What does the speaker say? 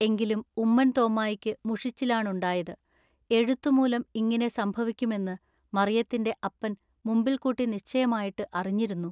എങ്കിലും ഉമ്മൻ തോമ്മായിക്കു മുഷിച്ചിലാണുണ്ടായത്. എഴുത്തു മൂലം ഇങ്ങിനെ സംഭവിക്കുമെന്നു മറിയത്തിന്റെ അപ്പൻ മുമ്പിൽകൂട്ടി നിശ്ചയമായിട്ടു അറിഞ്ഞിരുന്നു.